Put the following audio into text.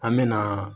An me na